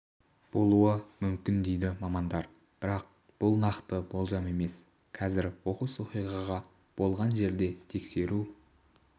болуы мүмкін дейді мамандар бірақ бұл нақты болжам емес қазір оқыс оқиға болған жерде тексеру